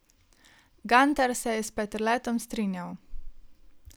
Gantar se je s Peterletom strinjal.